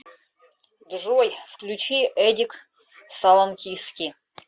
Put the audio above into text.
джой включи эдик салоникски